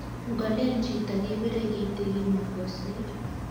ngolel chitok kepirei kitikin makosir